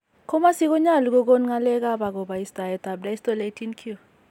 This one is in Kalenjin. Komosi konyolu kogon ng'alekab agobo istaetab distal 18q